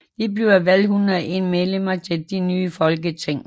Der blev valgt 101 medlemmer til det nye folketing